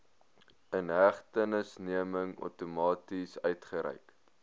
inhegtenisneming outomaties uitgereik